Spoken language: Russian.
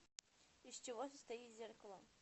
из чего состоит зеркало